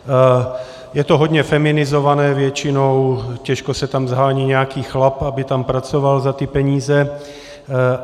Je to hodně feminizované většinou, těžko se tam shání nějaký chlap, aby tam pracoval za ty peníze.